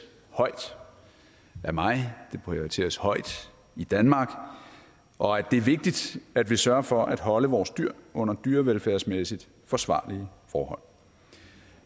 højt af mig den prioriteres højt i danmark og at det er vigtigt at vi sørger for at holde vores dyr under dyrevelfærdsmæssigt forsvarlige forhold